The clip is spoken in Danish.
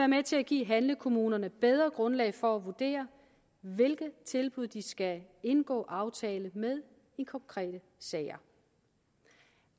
med til at give handlekommunerne bedre grundlag for at vurdere hvilke tilbud de skal indgå aftale med i konkrete sager